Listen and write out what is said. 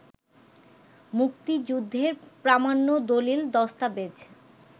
মুক্তিযুদ্ধের প্রামাণ্য দলিল-দস্তাবেজ